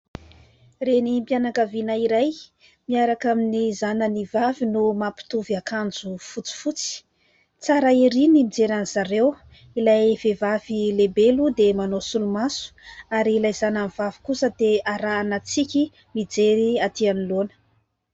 Renim-pianakaviana iray miaraka amin'ny zanany vavy no mampitovy akanjo fotsifotsy. Tsara erỳ ny mijery azy ireo. Ilay vehivavy lehibe moa dia manao solomaso, ary ilay zanany vavy kosa dia arahana tsiky mijery atỳ anoloana.